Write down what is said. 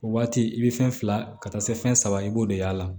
O waati i be fɛn fila ka taa se fɛn saba i b'o de y'a la